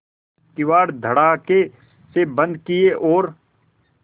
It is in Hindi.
किवाड़ धड़ाकेसे बंद किये और